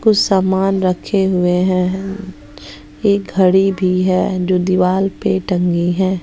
कुछ समान रखे हुए हैं एक घड़ी भी है जो दीवाल पे टंगी है।